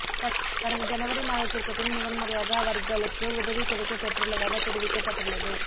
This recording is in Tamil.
கடந்த ஜனவரி மாதத்திற்கு பின் முதன்முறையாக அவர்களுக்கு உதவி கிடைக்கப் பெற்றுள்ளதாக தெரிவிக்கப்பட்டுள்ளது